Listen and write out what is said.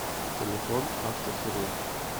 телефон автохирург